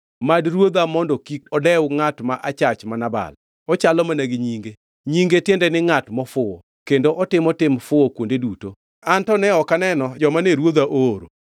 Mad ruodha mondo kik odew ngʼat ma achach ma Nabal. Ochalo mana gi nyinge, nyinge tiende ni ngʼat mofuwo, kendo otimo tim fuwo kuonde duto. An to ne ok aneno joma ne ruodha ooro.